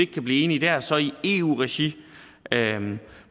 kan blive enige der så i eu regi